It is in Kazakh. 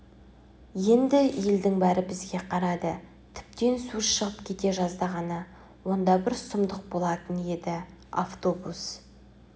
еңді елдің бәрі бізге қарады тіптен сөз шығып кете жаздағаны оңда бір сұмдық болатын еді автобус